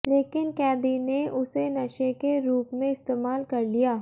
लेकिन कैदी ने उसे नशे के रूप में इस्तेमाल कर लिया